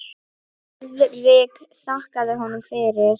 Friðrik þakkaði honum fyrir.